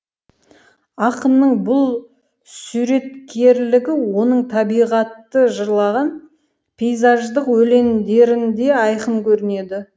ақынның бұл суреткерлігі оның табиғатты жырлаған пейзаждық өлеңдерінде айқын көрінеді